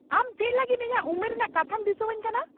ᱟᱢ ᱪᱮᱫ ᱞᱟᱹᱜᱤᱫ ᱤᱧᱟᱹᱜ ᱩᱢᱮᱨ ᱨᱮᱱᱟᱜ ᱠᱟᱛᱷᱟᱢ ᱫᱤᱥᱟᱹᱣᱟᱹᱧ ᱠᱟᱱᱟ ?